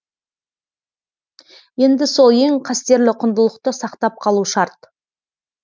енді сол ең қастерлі құндылықты сақтап қалу шарт